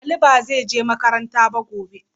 Ali ba zai je makaranta ba gobe.